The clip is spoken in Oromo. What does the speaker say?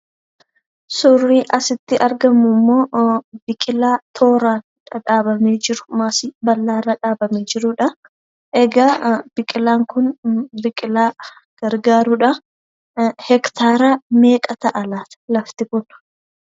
Suurri asitti argamu immoo biqilaa tooraan dhadhaabamee jiru maasii bal'aarra dhaabamee jirudha. Egaa biqilaan kun biqilaa gargaarudhaa. Hektaaraa meeqa ta'a laata lafti kun?